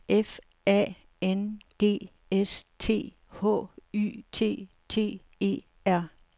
F A N G S T H Y T T E R